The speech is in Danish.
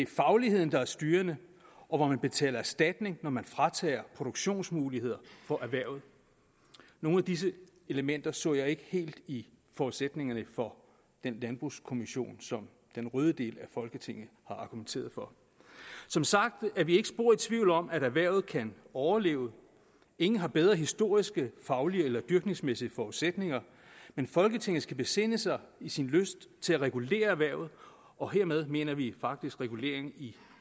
fagligheden er styrende og at man betaler erstatning når man fratager produktionsmuligheder nogle af disse elementer så jeg ikke helt i forudsætningerne for den landbrugskommission som den røde del af folketinget har argumenteret for som sagt er vi ikke spor i tvivl om at erhvervet kan overleve ingen har bedre historiske faglige eller dyrkningsmæssige forudsætninger men folketinget skal besinde sig i sin lyst til at regulere erhvervet og hermed mener vi faktisk regulering i